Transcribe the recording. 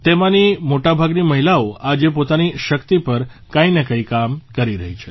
તેમાંની મોટા ભાગની મહિલાઓ આજે પોતાની શક્તિ પર કંઇ ને કંઇ કામ કરી રહી છે